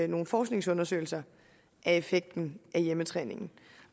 nogle forskningsundersøgelser af effekten af hjemmetræningen